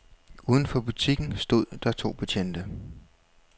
Udenfor butikken stod der to betjente.